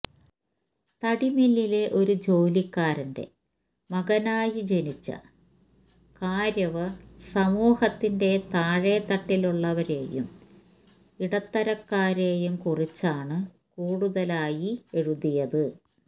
തടിമില്ലിലിലെ ഒരു ജോലിക്കാരന്റെ മകനായി ജനിച്ച കാര്വര് സമൂഹത്തിന്റെ താഴെത്തട്ടിലുള്ളവരെയും ഇടത്തരക്കാരെയും കുറിച്ചാണ് കൂടുതലായി എഴുതിയത്